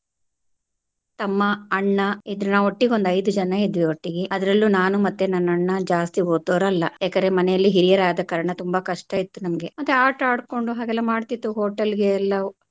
ತಮ್ಮ ಅಣ್ಣ ಇದ್ರು ನಾವು ಒಟ್ಟಿಗೆ ಒಂದು ಐದು ಜನ ಇದ್ವಿ ಒಟ್ಟಿಗೆ ಅದ್ರಲ್ಲೂ ನಾನು ಮತ್ತೆ ನನ್ನ ಅಣ್ಣ ಜಾಸ್ತಿ ಓದೋರ್ ಅಲ್ಲಾ ಏಕಂದ್ರೆ ಮನೆಯಲ್ಲಿ ಹಿರಿಯರಾದ ಕಾರಣ ತುಂಬಾ ಕಷ್ಟ ಇತ್ತು ನಮಗೆ ಮತ್ತೆ ಆಟ ಆಡ್ಕೊಂಡು ಹಾಗೆಲ್ಲಾ ಮಾಡ್ತಿತ್ತು hotel ಗೆ ಎಲ್ಲ.